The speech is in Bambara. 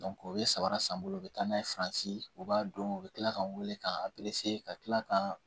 o ye saba san bolo u bɛ taa n'a ye faransi u b'a dɔn u bɛ tila ka wele k'an ka kila ka